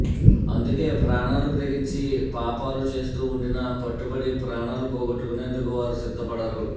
అందుకే ప్రాణాలకు తెగించి పాపాలు చేస్తూ ఉండినా పట్టుబడి ప్రాణాలు పోగొట్టుకొనేందుకు వారు సిద్ధపడరు